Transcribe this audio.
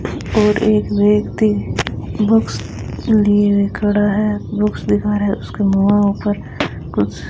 और एक व्यक्ति बुक्स लिए हुए खड़ा है बुक्स दिखा रहा है उसके पर कुछ --